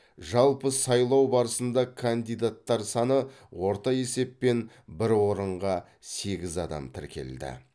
жалпы сайлау барысында кандидаттар саны орта есеппен бір орынға сегіз адам тіркелді